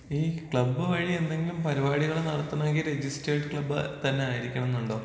ഈ ക്ലബ് വഴി എന്തെങ്കിലും പരിപാടികൾ നടത്തുന്നെങ്കിൽ രജിസ്റ്റർഡ് ക്ലബ് തന്നെ ആയിരിക്കണമെന്നുണ്ടോ?